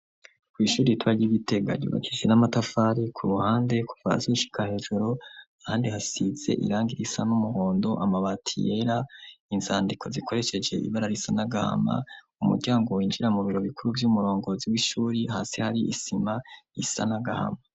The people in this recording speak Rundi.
kw’ishuri ritoya ry’i Gitega ryubakishije n'amatafari ku ruhande, kuva hasi gushika hejuru, ahandi hasize irangi risa n'umuhondo, amabati yera, inzandiko zikoresheje ibara risa n'agahama, umuryango winjira mu biro bikuru vy'umurongozi w'ishuri, hasi hari isima isa n’agahama.